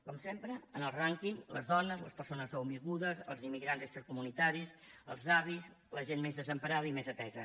com sempre en el rànquing les dones les persones nouvingudes els immigrants extracomunitaris els avis la gent més desemparada i més atesa